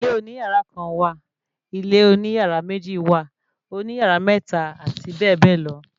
Ilé oní yàrá kan wà, ilé oní yàrá méjì wà, òní yàrá mẹ́ta, àti bẹ́ẹ̀bẹ́ẹ̀ lọ